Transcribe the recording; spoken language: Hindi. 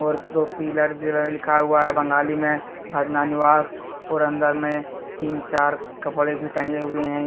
और दो पिलर भी लिखा हुआ है बंगाली में फ्रना निवास और अंदर में तीन चार कपड़े भी टंगे हुए हैं।